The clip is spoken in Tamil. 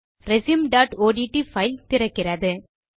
resumeஒட்ட் பைல் திறக்கிறது